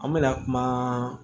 An mɛna kuma